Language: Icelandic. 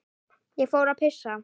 Ég fór að pissa.